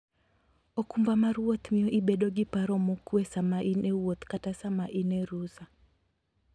okumba mar wuoth miyo ibedo gi paro mokuwe sama in e wuoth kata sama in e rusa.